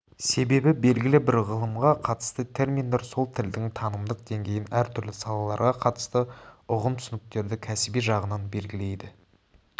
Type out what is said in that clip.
себебі белгілі бір ғылымға қатысты терминдер сол тілдің танымдық деңгейін әр түрлі салаларға қатысты ұғымтүсініктерді кәсіби жағынан белгілейді